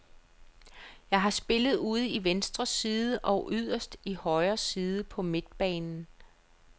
Jeg har spillet ude i venstre side og yderst i højre side på midtbanen.